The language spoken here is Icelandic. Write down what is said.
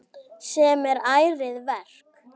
Sem er ærið verk.